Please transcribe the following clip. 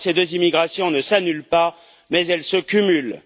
Or, ces deux immigrations ne s'annulent pas mais elles se cumulent.